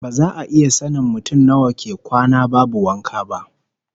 Ba za a iya sanin ko mutum nawa ke kwana babu wanka ba